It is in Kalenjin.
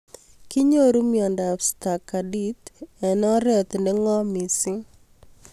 Kinyoru miondop Stargart eng'oret ne ng'om mising